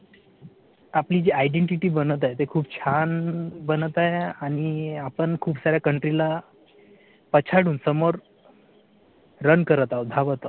आपली जी identity बनत आहे ते खूप छान बनत आहे आणि आपण खूप साऱ्या country ला पछाडून समोर रन करत आहोत धावत आहोत